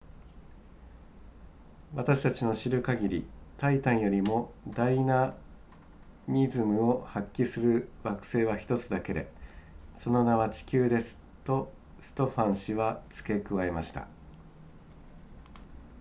私たちの知る限りタイタンよりもダイナミズムを発揮する惑星は1つだけでその名は地球ですとストファン氏は付け加えました